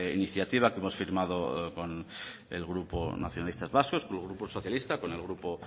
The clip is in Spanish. iniciativa que hemos firmado con el grupo nacionalistas vascos con el grupo socialista con el grupo